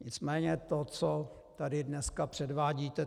Nicméně to, co tady dnes předvádíte...